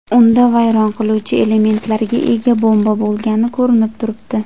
Unda vayron qiluvchi elementlarga ega bomba bo‘lgani ko‘rinib turibdi.